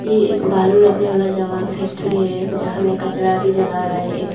ये एक बालू रखने वाला जगह फैक्ट्री है जहां में कचरा भी जल रहा एक--